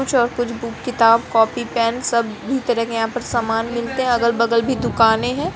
कुछ और कुछ बुक किताब कापी पेन सब भी तरह के यहाँ सामान मिलते हैं। अलग - बगल भी दुकानें हैं।